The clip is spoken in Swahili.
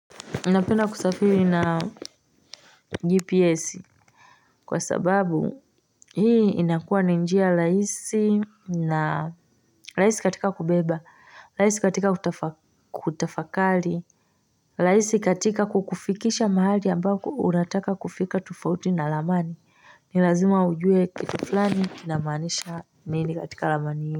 Napend kusafiri na GPS Kwa sababu hii inakua ni njia RhHisi na rahisi katika kubeba, rahisi katika kutafakari, rahisi katika kukufikisha mahali ambako unataka kufika tofauti na ramani ni lazima ujue kitu fulani kinamaanisha nini katika ramani hii.